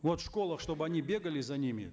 вот в школах чтобы они бегали за ними